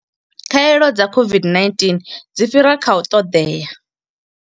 Khaelo dza COVID-19 dzi fhira kha u ṱoḓea